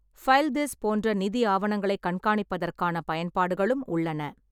FileThis போன்ற நிதி ஆவணங்களைக் கண்காணிப்பதற்கான பயன்பாடுகளும் உள்ளன.